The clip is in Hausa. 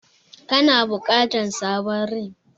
Kana bukatar sabon rim.